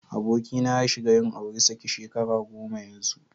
Abokina ya shiga yin auri saki shekara goma yanzu.